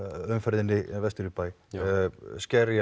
umferðinni vestur í bæ